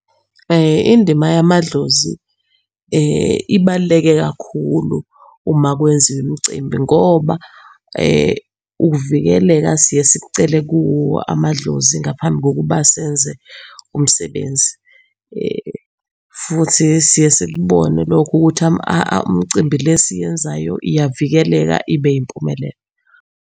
Indima yamadlozi ibaluleke kakhulu uma kwenziwa umcimbi ngoba ukuvikeleka siye sikucele kuwo amadlozi ngaphambi kokuba senze umsebenzi. Futhi siye sikubone lokho ukuthi imicimbi le esiyenzayo iyavikeleka ibe yimpumelelo.